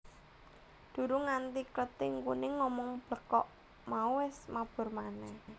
Durung nganti Klething Kuning ngomong blekok mau wis mabur manèh